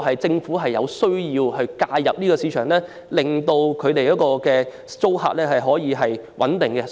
政府確實有需要介入市場，令租客可以有穩定的居所。